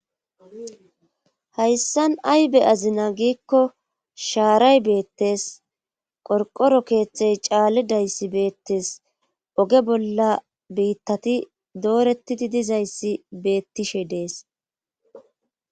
Hayssan aybe azina giikko shaaray beettes qorqoro keeththey caali dayssi beettes oge bolla biittati doorettidi dizayssi beettishe dees.